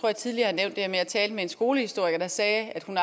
jeg tidligere har nævnt at jeg talte med en skolehistoriker der sagde at hun